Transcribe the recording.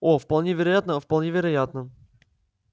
о вполне вероятно вполне вероятно